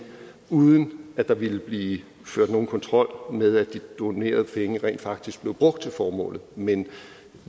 uden at der ville blive ført nogen kontrol med at de donerede penge rent faktisk blev brugt til formålet men